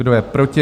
Kdo je proti?